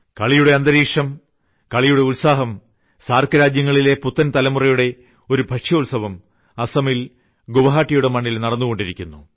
കളിയുടെ അന്തരീക്ഷം കളിയുടെ ഉത്സാഹം സാർക്ക് രാജ്യങ്ങളിലെ പുത്തൻതലമുറയുടെ ഒരു ഭക്ഷ്യോത്സവം അസ്സമിൽ ഗുവാഹട്ടിയുടെ മണ്ണിൽ നടന്നുകൊണ്ടിരിക്കുന്നു